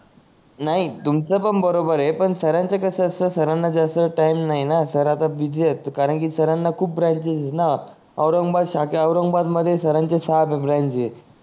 नाही तुमच पण बरोबर आहे पण सर च कस असत सर ना जास्त टाइम नाही ना सर आता बिझी आहेत करांकि सर खूप बरांचेसस आहेत ना औरंगाबाद शाखा औरंगाबाद मध्ये सर सात ब्रांच आहेत